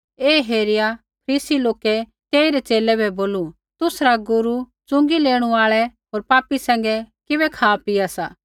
ऐ हेरिया फरीसी लोकै तेइरै च़ेले बै बोलू तुसरा गुरू च़ुँगी लेणू आल़ै होर पापी सैंघै किबै खापीआ सा